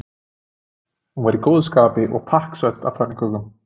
Hún var í góðu skapi og pakksödd af pönnukökum.